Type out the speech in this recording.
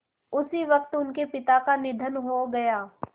उसी वक़्त उनके पिता का निधन हो गया